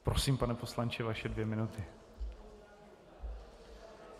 Prosím, pane poslanče, vaše dvě minuty.